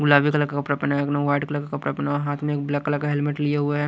गुलाबी कलर का कपड़ा पहना है एक ने व्हाईट कलर का कपड़ा पहना हुआ है हाथ में एक ब्लैक कलर का हेलमेट लिए हुए है।